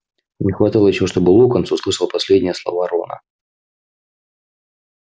не хватало ещё чтобы локонс услышал последние слова рона